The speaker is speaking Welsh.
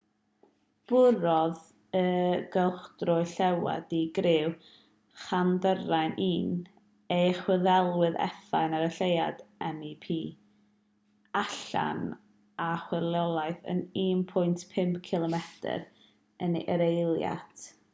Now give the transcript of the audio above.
bwrodd y cylchdröwr lleuad di-griw chandrayaan-1 ei chwiliedydd effaith ar y lleuad mip allan a chwyrlïodd ar 1.5 cilomedr yr eiliad 3000 milltir yr awr a chwymplaniodd yn llwyddiannus yn agos at begwn de'r lleuad